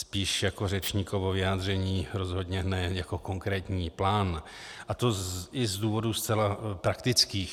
Spíš jako řečníkovo vyjádření, rozhodně ne jako konkrétní plán, a to i z důvodů zcela praktických.